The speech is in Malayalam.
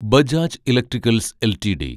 Bajaj electricals LTD